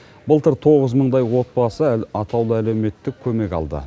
былтыр тоғыз мыңдай отбасы атаулы әлеуметтік көмек алды